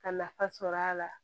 Ka nafa sɔrɔ a la